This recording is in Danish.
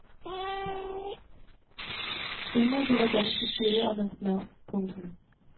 Senere blev der ganske stille om hans navn. punktum